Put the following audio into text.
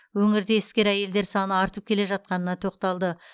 өңірде іскер әйелдер саны артып келе жатқанына тоқталды